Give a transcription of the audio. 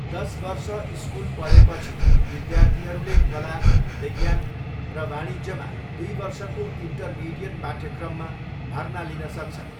दस वर्ष स्कुल पढेपछि विद्यार्थीहरूले कला, विज्ञान र वाणिज्यमा दुई वर्षको इन्टरमिडिएट पाठ्यक्रममा भर्ना लिन सक्छन्।